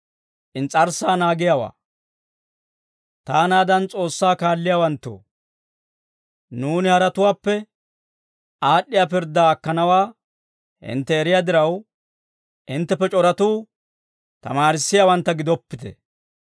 Taanaadan S'oossaa kaalliyaawanttoo, nuuni haratuwaappe aad'd'iyaa pirddaa akkanawaa hintte eriyaa diraw, hintteppe c'oratuu tamaarissiyaawantta gidoppite.